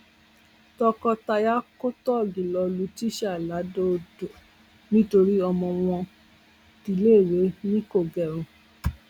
tọkọtaya kò tóògì lọọ lu tíṣà ladọodò nítorí ọmọ wọn tiléèwé ni kò gẹrun